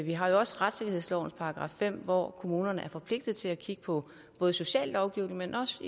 vi har jo også retssikkerhedslovens § fem hvor kommunerne er forpligtede til at kigge på både sociallovgivning men også